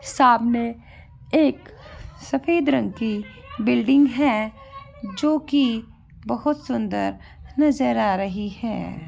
सामने एक सफेद रंग की बिल्डिंग है जो कि बहुत सुंदर नज़र आ रही है।